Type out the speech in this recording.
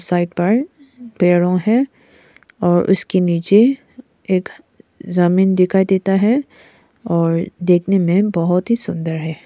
Side पर पेड़ों है और इसके नीचे एक जमीन दिखाई देता है और देखने में बहोत ही सुंदर है।